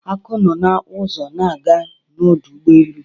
Aku nọ na-ụzọ na-aga n'ọdụ ụgbọelu.